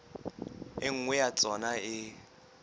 e nngwe ya tsona e